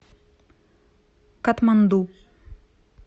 катманду